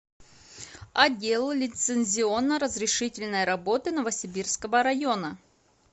отдел лицензионно разрешительной работы новосибирского района